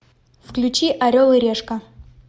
включи орел и решка